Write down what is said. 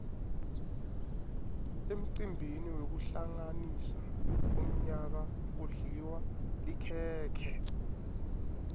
emcimbini wekuhlanganisa umyaka kudliwa likhekhe